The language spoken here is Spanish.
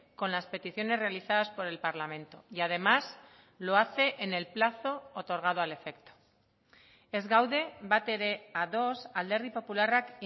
con las peticiones realizadas por el parlamento y además lo hace en el plazo otorgado al efecto ez gaude batere ados alderdi popularrak